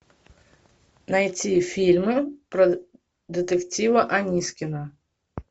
найти фильмы про детектива анискина